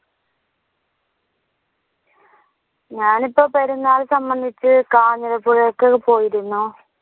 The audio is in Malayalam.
ഞാനിപ്പോ പെരുന്നാൾ സംബന്ധിച്ച് കാഞ്ഞിരപ്പുഴക്കൊക്കെ പോയിരുന്നു